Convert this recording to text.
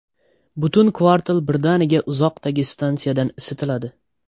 Butun kvartal birdaniga uzoqdagi stansiyadan isitiladi.